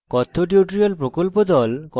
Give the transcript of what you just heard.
কথ্য tutorial প্রকল্প the